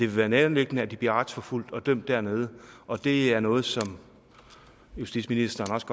være nærliggende at de bliver retsforfulgt og dømt dernede og det er noget som justitsministeren også